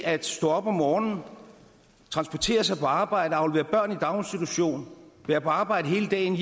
at stå op om morgenen transportere sig på arbejde aflevere børn i daginstitution være på arbejde hele dagen